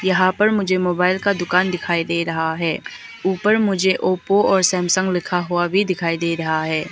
यहां पर मुझे मोबाइल का दुकान दिखाई दे रहा है ऊपर मुझे अप और सैमसंग लिखा हुआ भी दिखाई दे रहा है।